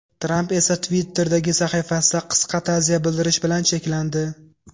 Tramp esa Twitter’dagi sahifasida qisqa ta’ziya bildirish bilan cheklandi.